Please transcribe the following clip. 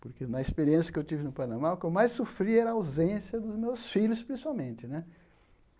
Porque na experiência que eu tive no Panamá, o que eu mais sofri era a ausência dos meus filhos, principalmente né.